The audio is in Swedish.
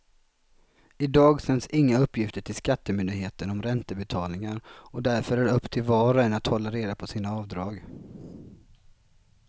Idag sänds inga uppgifter till skattemyndigheten om räntebetalningar och därför är det upp till var och en att hålla reda på sina avdrag.